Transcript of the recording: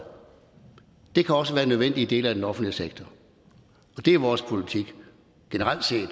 det kan også være nødvendigt i dele af den offentlige sektor og det er vores politik generelt set